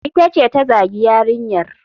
Ita ce ta zagi yarinyar.